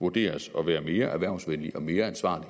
vurderes at være mere erhvervsvenlig og mere ansvarlig